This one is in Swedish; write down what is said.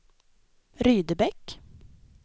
Rydebäck